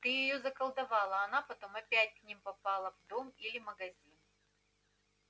ты её заколдовал а она потом опять к ним попала в дом или магазин